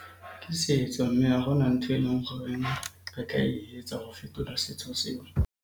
Ke setso, mme ha hona ntho e leng goreng re ka e etsa ho fetola setso seo.